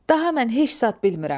Daha mən heç zat bilmirəm.